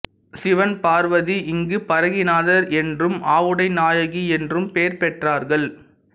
சிவன் பார்வதி இங்கு பரங்கிநாதர் என்றும் ஆவுடை நாயகி என்றும் பெயர் பெற்றார்கள்